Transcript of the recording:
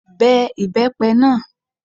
Be ibepe náà!